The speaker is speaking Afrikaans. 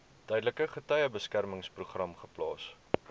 tydelike getuiebeskermingsprogram geplaas